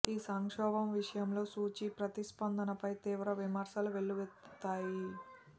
ఈ సంక్షోభం విషయంలో సూచీ ప్రతిస్పందనపై తీవ్ర విమర్శలు వెల్లువెత్తాయి